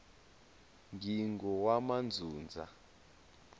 ngingowamandzundza